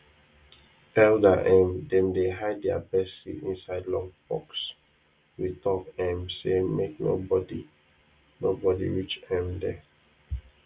elder um dem dey hide their best seed inside locked box with talk um say make no body no body reach um there